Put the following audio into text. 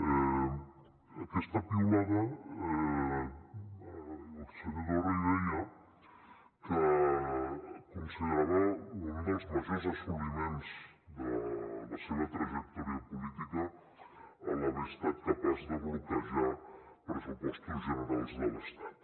en aquesta piulada el senyor torra hi deia que considerava un dels majors assoliments de la seva trajectòria política l’haver estat capaç de bloquejar els pressupostos generals de l’estat